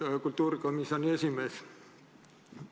Austatud kultuurikomisjoni esimees!